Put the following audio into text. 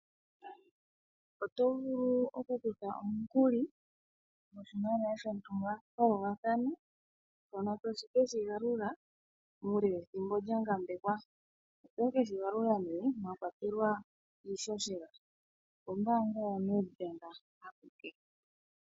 Oto vulu okukutha omukuli goshimaliwa shontumba pauvathano, mpono to keshi galula muule wethimbo lya gambekwa. Oto keshi gandja nee mwa kwatelwa iihohela, ombaanga ya NedBank akuke.